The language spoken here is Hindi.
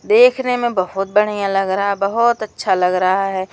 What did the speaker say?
देखने में बहोत बढ़िया लग रहा है बहोत अच्छा लग रहा है।